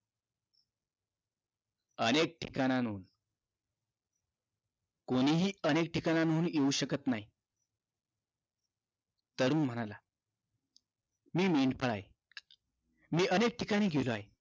अनेक ठिकाणाहून कोणीही अनेक ठिकणाहून येऊ शकत नाही तरुण म्हणाला मी मेंढपाळ आहे मी अनेक ठिकाणी गेलो आहे